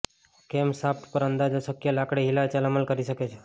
camshaft પર અંદાજો શક્ય લાકડી હિલચાલ અમલ કરી છે